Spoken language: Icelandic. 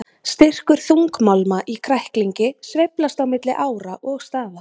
Styrkur þungmálma í kræklingi sveiflast á milli ára og staða.